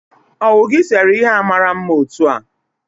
owu gi sere ihe a mara mma otu a?